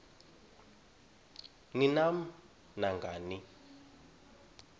ni nam nangani